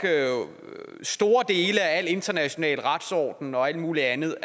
store dele af al international retsorden og alt muligt andet